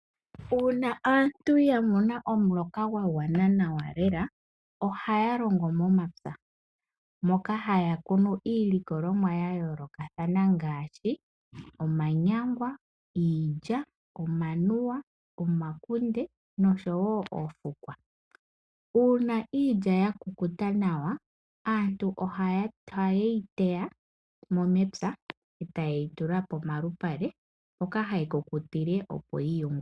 Uuna aantu yamona omuloka gwagwana nawa lela , ohaya longo momapya , moka haya kunu iilikolomwa yayoolokathana ngaashi omanyangwa, iilya, omanuwa, omakunde noshowoo oofukwa. Uuna iilya yakukuta nawa , aantu ohayeyi teyamo mepya , etayeyi tula momalupale etaya tsikile okuyi yungula.